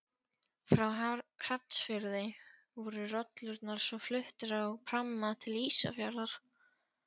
Frá Hrafnsfirði voru rollurnar svo fluttar á pramma til Ísafjarðar.